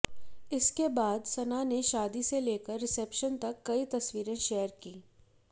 इसके बाद सना ने शादी से लेकर रिसेप्शन तक की कई तस्वीरें शेयर की